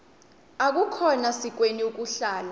akukhona sikweni ukuhlala